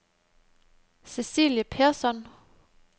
Cecilie Persson